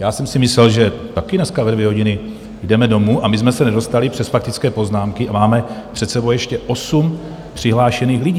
Já jsem si myslel, že taky dneska ve dvě hodiny jdeme domů, a my jsme se nedostali přes faktické poznámky a máme před sebou ještě osm přihlášených lidí.